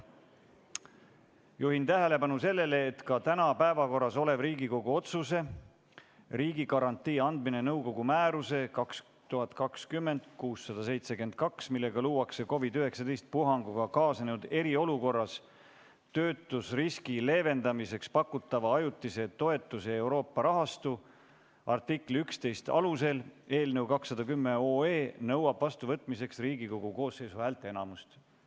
Juhin tähelepanu sellele, et ka täna päevakorras oleva Riigikogu otsuse "Riigigarantii andmine nõukogu määruse 2020/672, millega luuakse COVID-19 puhanguga kaasnenud eriolukorras töötuseriski leevendamiseks pakutava ajutise toetuse Euroopa rahastu , artikli 11 alusel" eelnõu 210 nõuab vastuvõtmiseks Riigikogu koosseisu häälteenamust.